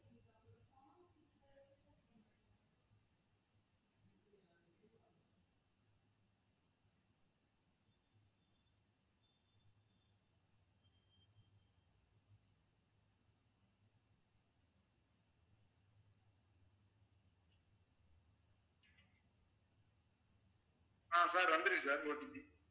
ஆஹ் sir வந்துருச்சு sir OTP